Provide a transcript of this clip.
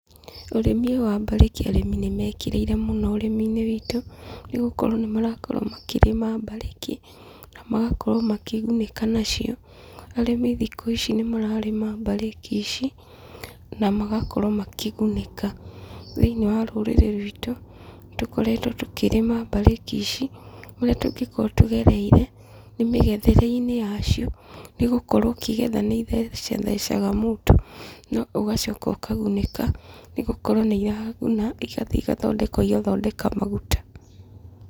Ũrĩmi ũyũ wa mbarĩki arĩmi nĩ mekĩrĩire mũno ũrĩmi-inĩ witũ, nĩgũkorwo nĩ marakorwo makĩrĩma mbarĩki, na magakorwo makĩgunĩka nacio, arĩmi thikũ ici nĩ mararĩma mbarĩki ici, na magakorwo makĩgunĩka, thĩiniĩ wa rũrĩrĩ rwitũ, nĩ tũkoretwo tũkĩrĩma mbarĩki ici, kũrĩa tũngĩkorwo tũgereire nĩ mĩgethere-inĩ ya cio, nĩ gũkorwo ũkĩgetha nĩ ithecathecaga mũndũ, no ũgacoka ũkagunĩka, nĩgũkorwo nĩ iraguna igathiĩ igathondekwo igathondeka maguta.